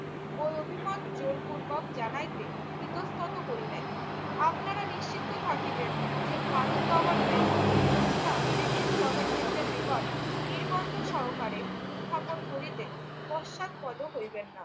ওই অভিমত জোরপূর্বক জানাইতে ইতঃস্তত করি নাই। আপনারা নিশ্চিন্ত থাকিবেন যে, ভারত গভর্নমেন্ট এই প্রস্তাব ব্রিটিশ গভর্নমেন্টের নিকট নির্বন্ধ সহকারে উত্থাপন করিতে পশ্চাৎপদ হইবেন না।